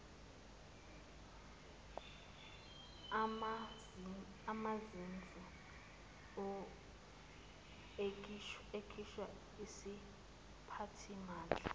umazisi okhishwa yisiphathimandla